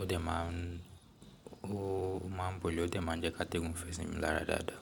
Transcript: Ó dẹ̀ máa ń, ó máa ń bole ó dẹ̀ máa ń jẹ́ ká tẹ́gùn fẹ́ sí mi lára dáadáa.